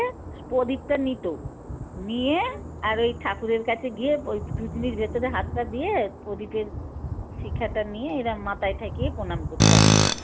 পদীপটা নিত নিয়ে আর ওই ঠাকুরের কাছে গিয়ে ধুজনির ভেতরে হাতটা দিয়ে পদীপের শিখাটা নিয়ে এরম মাথায় ঠেকিয়ে পণাম করত আরকি।